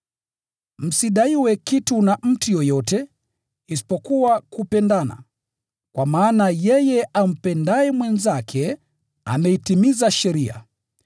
Msidaiwe kitu na mtu yeyote, isipokuwa kupendana, kwa maana yeye ampendaye mwenzake, ameitimiza sheria.